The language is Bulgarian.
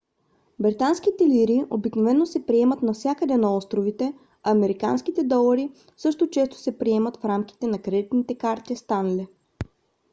британските лири обикновено се приемат навсякъде на островите а американските долари също често се приемат в рамките на кредитните карти stanley